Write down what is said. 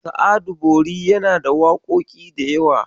Sa'adu Bori yana da waƙoƙi da yawa.